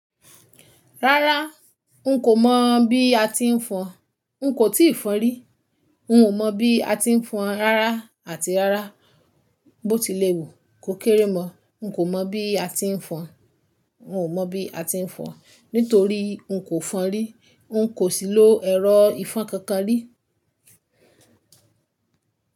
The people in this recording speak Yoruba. Rárá, n kò mọ̀ bí a ti ń fọn. N kò tíì fọn rí. N ò mọ̀ bí a ti ń fọn rárá àti rárá. Bó tilé wu, kò kéré mọ̀. N kò mọ̀ bí a ti ń fọn. N ò mọ̀ bí a ti ń fọn nítorí n kò fọn rí. N kò sì lo ẹ̀rọ ìfọn kankan rí.